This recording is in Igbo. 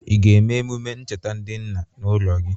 Ị ga-eme emume ncheta ndị nna n' ụlọ gi?